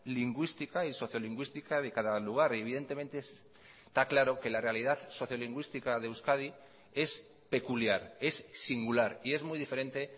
lingüística y sociolingüística de cada lugar y evidentemente está claro que la realidad sociolingüística de euskadi es peculiar es singular y es muy diferente